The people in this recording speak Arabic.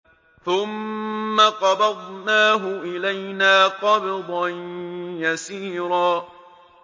ثُمَّ قَبَضْنَاهُ إِلَيْنَا قَبْضًا يَسِيرًا